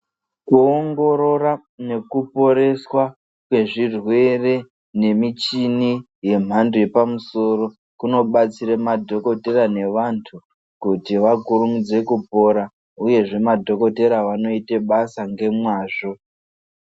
Kuongorora nekuporeswa kwezvirwere nemichini yemhando yepamusoro kunobatsira madhokodhera nevantu kuti vakurumidze kupora uyezve madhokotera vanoita basa nemazvo .